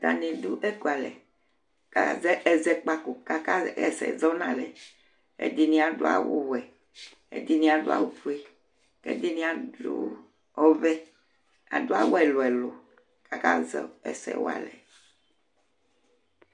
Ataŋi ɖʋ ɛkʋalɛ kʋ azɛ ɛsɛ walɛ Ɛɖìní aɖu awu wɛ Ɛɖìní aɖu awu fʋe Ɛɖìní aɖu ɔvɛ Aɖu awu ɛlu ɛlu kʋ akazɛ ɛsɛ walɛ